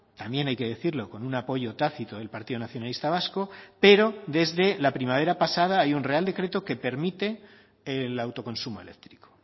también hay que decirlo con un apoyo tácito del partido nacionalista vasco pero desde la primavera pasada hay un real decreto que permite el autoconsumo eléctrico